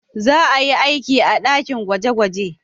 Za a yi aiki a dakin gwaje-gwaje.